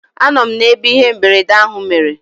Anọ m n'ebe ihe mberede ahụ mere.